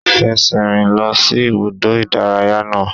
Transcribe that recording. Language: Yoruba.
Fẹsẹ̀ rìn lọ sí ibùdó ìdárayá náà!